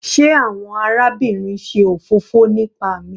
Sé àwọn arábìnrin ṣe òfófó nipa mi?